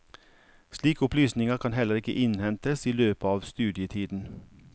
Slike opplysninger kan heller ikke innhentes i løpet av studietiden.